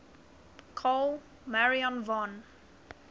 carl maria von